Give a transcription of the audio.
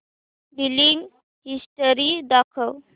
billing history दाखव